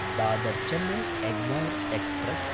दादर्–चेन्नै Egmore express